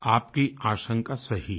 आपकी आशंका सही है